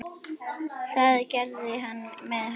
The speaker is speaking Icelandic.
Það gerði hann með hörku.